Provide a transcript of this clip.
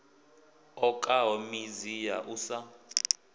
okaho midzi ya u sa